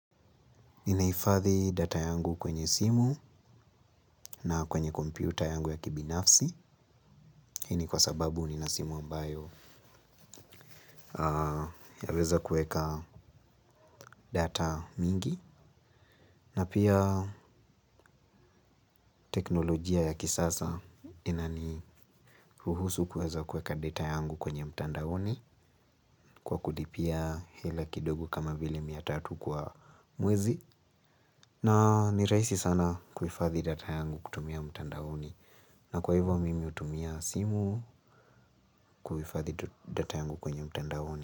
Ninaifathi data yangu kwenye simu na kwenye kompiuta yangu ya kibinafsi. Hini kwa sababu ninasimu ambayo yaweza kueka data mingi. Na pia teknolojia ya kisasa inani ruhusu kueza kueka data yangu kwenye mtandaoni kwa kudipia hila kidogo kama vile miatatu kwa mwezi. Na niraisi sana kuifathi data yangu kutumia mtandaoni. Na kwa hivyo mimi utumia simu kuifathi data yangu kwenye mtenda honi.